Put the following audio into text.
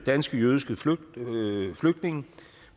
danske jødiske flygtninge flygtninge